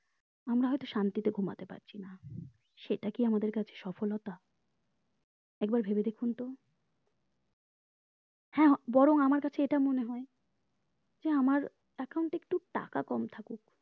আমরা হয়তো শান্তিতে ঘুমাতে পারছি না সেইটা কি আমাদের কাছে সফলতা একবার ভেবে দেখুন তো হ্যাঁ বরং আমার কাছে এটা মনে হয় যে আমার account এ একটু টাকা কম থাকুক